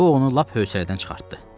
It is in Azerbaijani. Bu onu lap hövsələdən çıxartdı.